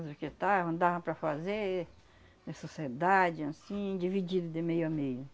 Os que estavam, dava para fazer, em sociedade, anssim, dividido de meio a meio.